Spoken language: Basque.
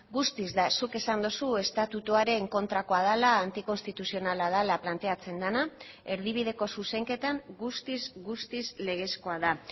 guztiz da zuk esan duzu estatutuaren kontrakoa dela antikonstituzionala dela planteatzen dena erdibideko zuzenketan guztiz guztiz legezkoa da